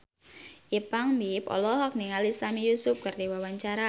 Ipank BIP olohok ningali Sami Yusuf keur diwawancara